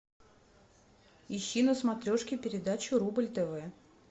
ищи на смотрешке передачу рубль тв